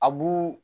A bu